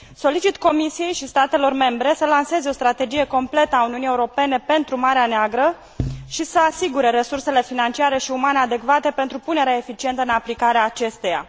Solicit Comisiei și statelor membre să lanseze o strategie completă a Uniunii Europene pentru Marea Neagră și să asigure resursele financiare și umane adecvate pentru punerea eficientă în aplicare a acesteia.